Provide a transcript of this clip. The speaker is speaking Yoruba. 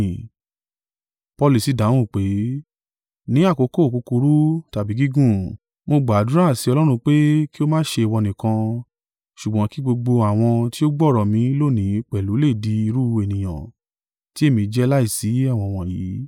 Paulu sì dáhùn wí pé, “Ní àkókò kúkúrú tàbí gígùn, mo gbàdúrà sí Ọlọ́run pé kí ó má ṣe ìwọ nìkan, ṣùgbọ́n kí gbogbo àwọn tí ó gbọ́ ọ̀rọ̀ mi lónìí pẹ̀lú lè di irú ènìyàn tí èmi jẹ́ láìsí ẹ̀wọ̀n wọ̀nyí.”